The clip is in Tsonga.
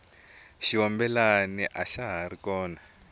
xiyombela axa hari kona